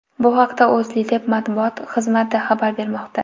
Bu haqda O‘zLiDeP Matbuot xizmati xabar bermoqda .